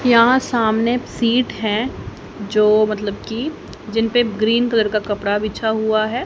यहां सामने सीट है जो मतलब कि जिन पे ग्रीन कलर का कपड़ा बिछा हुआ है।